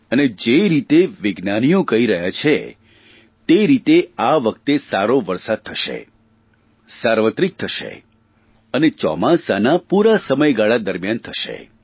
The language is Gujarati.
અને જે રીતે વિજ્ઞાનીઓ કહી રહ્યા છે તે રીતે આ વખતે સારો વરસાદ થશે સાર્વત્રિક થશે અને ચોમાસા પૂરા સમયગાળા દરમ્યાન થશે